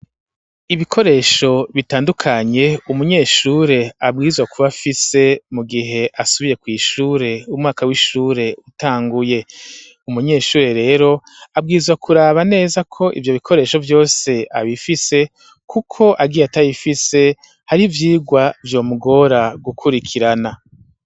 Ibikoresho bitandukanye umunyeshure abwizwa kuba afise mu gihe asubiye kw'ishure umwaka w'ishure utanguye umunyeshuri rero abwizwa kuraba neza ko ivyo bikoresho vyose abifise, kuko agiye atabifise hari ivyigwa vyo mugora gukuree ikirana.